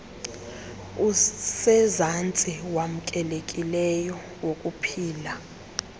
usezantsi wamkelekileyo wokuphila